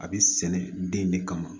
A bɛ sɛnɛ den de kama